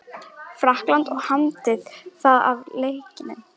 Frakklandi og hamdi það af leikni.